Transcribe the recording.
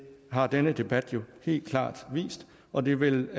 har denne debat jo helt klart vist og det vil